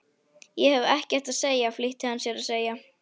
Ég hef ekkert að segja flýtti hann sér að segja.